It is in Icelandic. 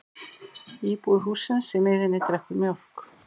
Íbúi hússins í miðjunni drekkur mjólk.